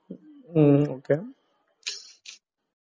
ഹ്ം ഓ K